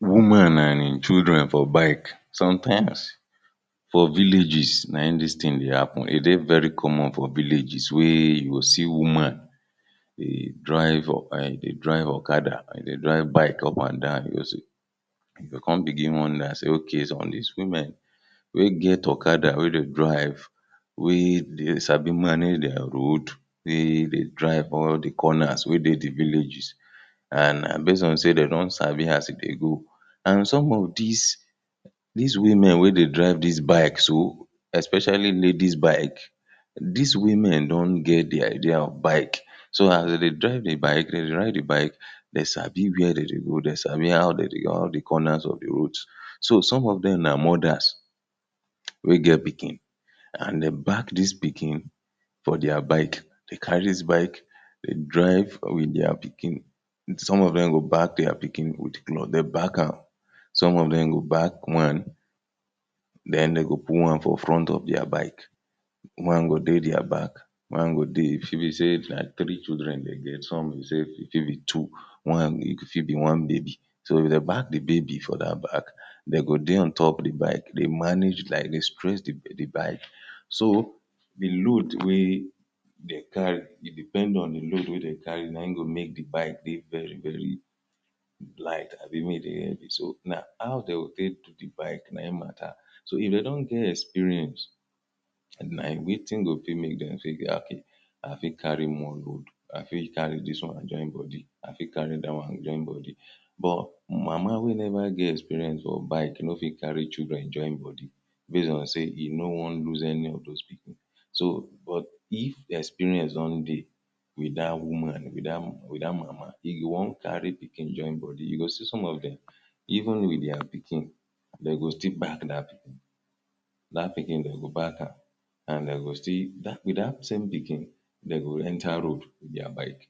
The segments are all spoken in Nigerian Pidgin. Woman and im children for bike. Sometimes for villages na im dis thing dey happen, e dey very common for villages wey you go see woman dey drive um dey drive okada and e dey drive bike up and down also. You go come begin wonder say ok so dis women wey get okada wey dey drive wey dey sabi manage their road dey drive all the corners wey dey the villages and na base on say dey don sabi as e dey go and some of dis dis women wey dey drive dis bike so especially ladies bike dis women don get the idea of bike. So as dem dey drive the bike, dem dey ride the bike dey sabi where dem dey go, dey sabi how dem dey how the corners of the corners of the road. So some of dem na mothers wey get pikin and dey back dis pikin for their bike. Dey carry dis bike dey drive wit their pikin. Some of dem go back their pikin wit cloth, dey back am. Some of dem go back one, den dem go put one for front of their bike. One go dey their back, one go dey e fit be say na three children dem get, some be say e fit be two, one, e fit be one baby so if dey back the baby for dat back, dey go dey on top the bike dey manage like dey stress the bike. So, the load wey dey carry e depend on the load wey dem carry na im go make the bike dey very very light abi make e dey heavy. So now how dem go take do the bike na im matter. So if dey don get experience na wetin go fit make dem fit okay i fit carry more load, i fit carry dis one and join body, i fit carry dat one join body, but mama wey never get experience for bike no fit carry children join body base on say e no wan lose any of those people. So, but if the experience don dey wit dat woman, wit dat mama, e go wan carry pikin join body, e go see some of dem even wit their pikin. Dey go still back dat pikin dat pikin dem go back am and dey go still wit dat wit dat same pikin, dey go enter road wit their bike.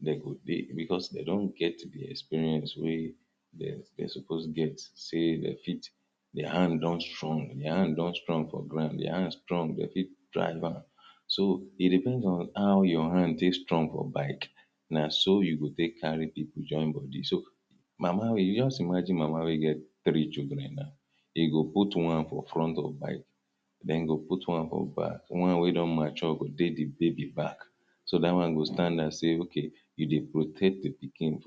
dey go dey because dey don get the experience wey dey dey suppose get say dey fit Their hand don strong, their hand don strong for ground, the hand strong dey fit drive am. So it depends on how your hand take strong for bike, na so you go take carry people join body. So mama wey just imagine mama wey get three children now. E go put one for front of bike den e go put one for back, one wey don mature go dey the baby back. So dat one go stand and say ok e dey protect the pikin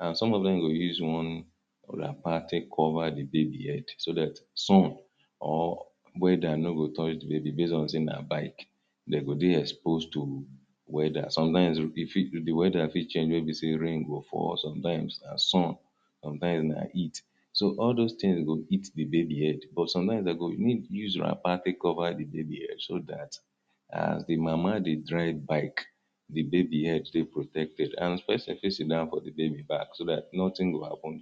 and some of dem go use one wrapper take cover the baby head so dat sun or weather no go touch the baby base on say na bike. Dey go dey expose to weather. Sometimes e fit the weather fit change wey be say rain go fall or sometimes na sun, sometimes na heat. So all those things go hit the baby head, but sometimes dem go need use wrapper take cover the baby head so dat as the mama dey drive bike, the baby head dey protected and person fit sit down for baby back so that nothing go happen.